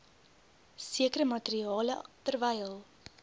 sekere materiale terwyl